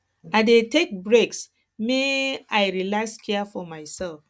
i dey take breaks make um i relax care for mysef